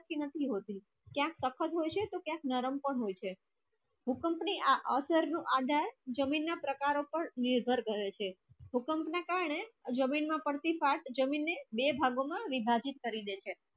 નથી હોતી ક્યા સખત હોય છે ક્યા નરમ પણ હોય છે ભૂકંપ ની આ અસર નુ આધાર જમીન ના પ્રકારો પર નિર્ભર રહે છે ભૂકંપ ના કારણે ઝમીન માં પડતી ફાટ ઝમીન ને બે ભાગો મા વિભાજીત કરી દે છે